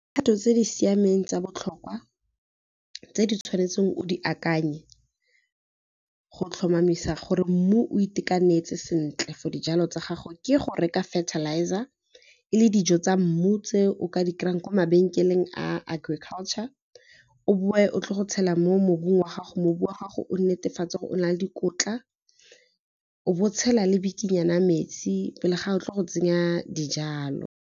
Phato tse di siameng tsa botlhokwa tse di tshwanetseng o di akanye go tlhomamisa gore mmu o itekanetse sentle for dijalo tsa gago, ke go reka fertilizer e le dijo tsa mmu tse o ka di kry-ang kwa mabenkeleng a agriculture, o boe o tle go tshela mo mobung wa gago, mobu wa gago o netefatse gore o na le dikotla, o bo tshela le bikinyana metsi pele ga o tlile go tsenya dijalo.